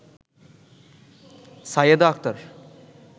Sayeda Akter